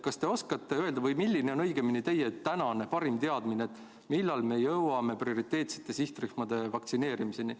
Kas te oskate öelda, milline on teie tänane parim teadmine, millal me saame prioriteetsed sihtrühmad vaktsineeritud?